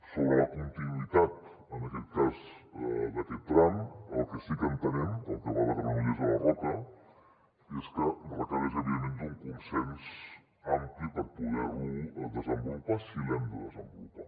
sobre la continuïtat en aquest cas d’aquest tram el que sí que entenem el que va de granollers a la roca és que requereix evidentment d’un consens ampli per poder lo desenvolupar si l’hem de desenvolupar